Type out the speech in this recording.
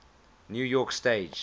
new york stage